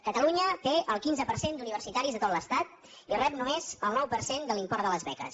catalunya té el quinze per cent d’universitaris de tot l’estat i rep només el nou per cent de l’import de les beques